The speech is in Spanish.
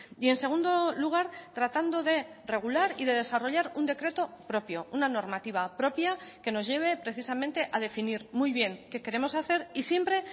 y en segundo lugar tratando de regular y de desarrollar un decreto propio una normativa propia que nos lleve precisamente a definir muy bien que queremos hacer y siempre